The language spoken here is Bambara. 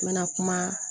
N bɛna kuma